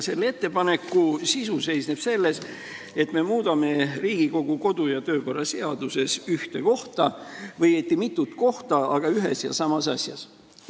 Selle ettepaneku sisu seisneb selles, et me muudame Riigikogu kodu- ja töökorra seaduses ühte kohta või õieti mitut kohta, aga ühes ja samas asjas.